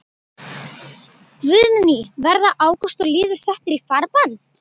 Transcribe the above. Guðný: Verða Ágúst og Lýður settir í farbann?